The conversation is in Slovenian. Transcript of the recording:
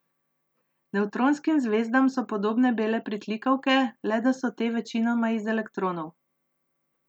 Nevtronskim zvezdam so podobne bele pritlikavke, le da so te večinoma iz elektronov.